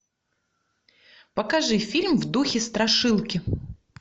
покажи фильм в духе страшилки